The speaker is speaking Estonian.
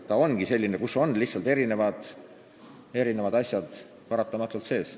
See ongi oma olemuses selline seadus, kus on erinevad asjad lihtsalt paratamatult sees.